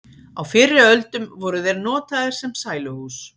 á fyrri öldum voru þeir notaðir sem sæluhús